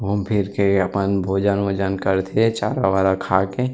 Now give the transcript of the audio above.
घूम फिर के अपन भोजन ओजन करथे चारा वारा खा के --